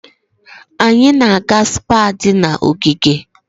Anyị na-aga Spá di na ogige.